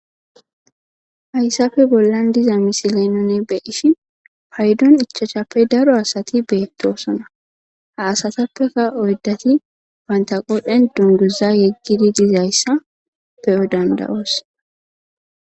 Hayssafe bollan diza misilenone be ishi paydon ichachappe daro asati beettosona haasatappeka oydati wanta qodhen dunguza yeggidi dizayssa beyo danda7oos